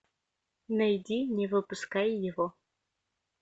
найди не выпускай его